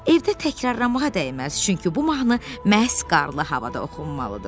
Evdə təkrarlamağa dəyməz, çünki bu mahnı məhz qarlı havada oxunmalıdır.